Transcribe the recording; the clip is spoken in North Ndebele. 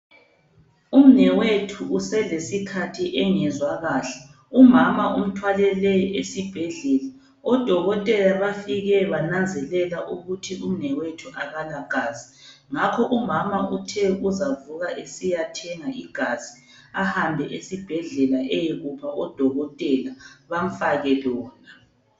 Umnewethu uselesikhathi engezwa kahle. Umama umthwalele esibhedlela. Odokotela bafike bananzelela ukuthi umnewethu akala gazi. Ngakho umama uthe uzavuka esiyathenga igazi ahambe esibhedlela eyekupha odokotela bamfake lona.